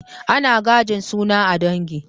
Ana gajin suna a ɗangi